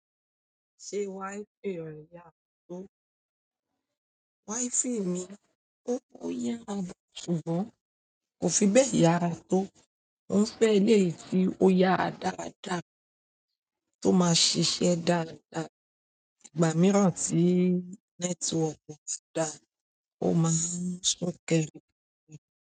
Ṣé wi-fi rẹ yàrá tó? Wi-fi mi ó ń yárà, ṣùgbọ́n kò fi bẹ́ẹ̀ yára tó. O n fẹ eléyìí tí o yara dáadáa tí o ma ṣiṣẹ dáadáa, ìgbà míràn tí network o tun da, o ma n sun kẹrẹ.